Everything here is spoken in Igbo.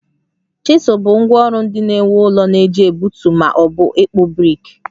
Chisel bụ ngwá ọrụ ndị na-ewu ụlọ na-eji egbutu ma ọ bụ ịkpụ brik